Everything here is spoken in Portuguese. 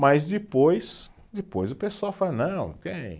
Mas depois, depois o pessoal fala, não, tem